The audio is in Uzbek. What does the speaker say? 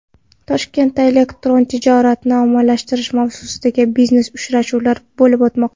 Toshkentda elektron tijoratni ommalashtirish mavzusidagi biznes-uchrashuvlar bo‘lib o‘tmoqda.